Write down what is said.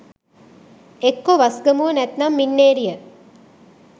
එක්කො වස්ගමුව නැත්නම් මින්නේරිය